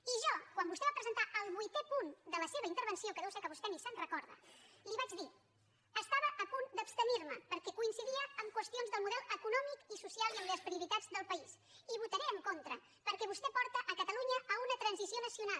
i jo quan vostè va presentar el vuitè punt de la seva intervenció que deu ser que vostè ni se’n recorda li vaig dir estava a punt d’abstenir me perquè coincidia en qüestions del model econòmic i social i en les prioritats del país i votaré en contra perquè vostè porta catalunya a una transició nacional